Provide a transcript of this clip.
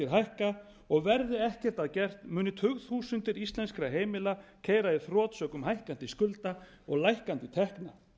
hækka og verði ekkert að gert muni tugþúsundir íslenskra heimila keyra í þrot sökum hækkandi skulda og lækkandi tekna